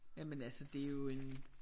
Jamen altså det er jo en